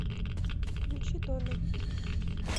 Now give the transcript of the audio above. включи дона